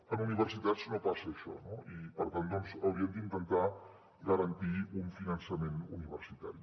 en universitats no passa això no i per tant hauríem d’intentar garantir un finançament universitari